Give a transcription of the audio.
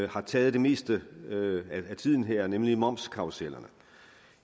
har taget det meste af tiden her nemlig momskarrusellerne